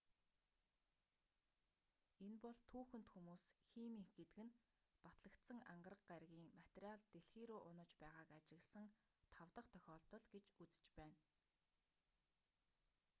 энэ бол түүхэнд хүмүүс химийнх гэдэг нь батлагдсан ангараг гарагийн материал дэлхий рүү унаж байгааг ажигласан тав дахь тохиолдол гэж үзэж байна